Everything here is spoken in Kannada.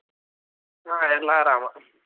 ಹಾ ಎಲ್ಲಾ ಆರಾಮ.